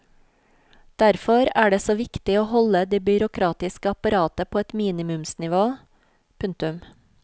Derfor er det så viktig å holde det byråkratiske apparatet på et minimumsnivå. punktum